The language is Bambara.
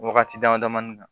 Wagati dama damanin kan